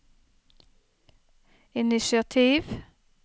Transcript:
initiativ